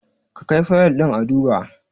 Ka kai Fayil ɗin a duba!